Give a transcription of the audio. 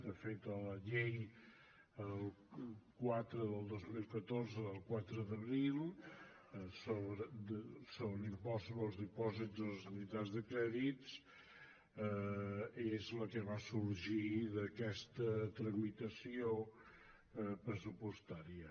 de fet la llei quatre dos mil catorze del quatre d’abril sobre l’impost sobre els dipòsits en les entitats de crèdit és la que va sorgir d’aquesta tramitació pressupostària